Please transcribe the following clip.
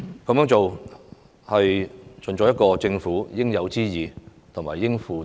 這樣做是盡政府應有之義和應負之責。